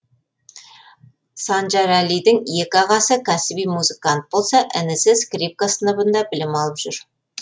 санжарәлидің екі ағасы кәсіби музыкант болса інісі скрипка сыныбында білім алып жүр